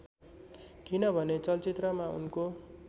किनभने चलचित्रमा उनको